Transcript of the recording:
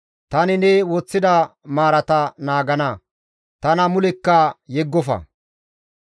Tani ne woththida maarata naagana; tana mulekka yeggofa.